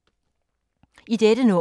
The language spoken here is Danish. I dette nummer